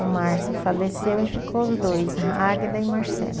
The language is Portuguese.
O Márcio faleceu e ficou os dois, a Águida e Marcelo.